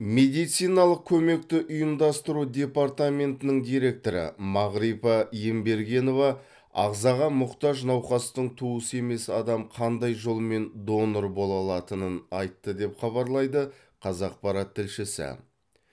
медициналық көмекті ұйымдастыру департаментінің директоры мағрипа ембергенова ағзаға мұқтаж науқастың туысы емес адам қандай жолмен донор бола алатынын айтты деп хабарлайды қазақпарат тілшісі